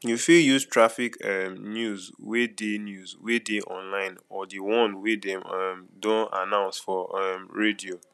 you fit use traffic um news wey dey news wey dey online or di one wey dem um dey announce for um radio